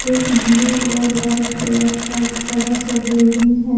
एक ब्लू और white colour का बड़ा सा बिल्डिंग है।